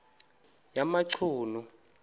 yamachunu